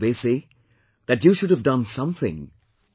They say that you should have done something better